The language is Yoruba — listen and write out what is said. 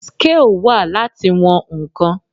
scale wà Láti wọn ǹkan.